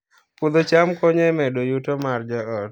Puodho cham konyo e medo yuto mar joot